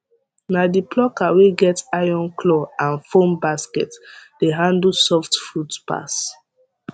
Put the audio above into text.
na the plucker wey get iron claw and foam basket dey handle soft fruit pass